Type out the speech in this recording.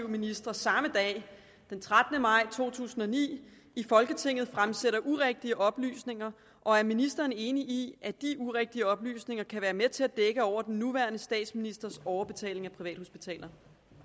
ministre samme dag den trettende maj to tusind og ni i folketinget fremsætter urigtige oplysninger og er ministeren enig i at de urigtige oplysninger kan være med til at dække over den nuværende statsministers overbetaling af privathospitaler